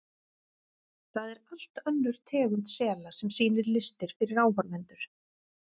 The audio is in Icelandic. Það er allt önnur tegund sela sem sýnir listir fyrir áhorfendur.